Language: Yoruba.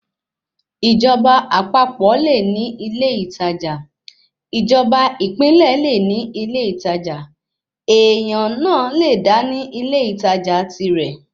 Ìjọba àpapọ̀ le ní ilé ìtajà, ìjọba ìpínlẹ̀ le ní ilé ìtajà, èèyàn náà le dá ní ilé ìtajà tirẹ̀